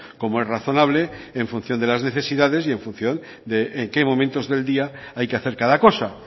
como es razonable en función de las necesidad y en función de en qué momentos del día hay que hacer cada cosa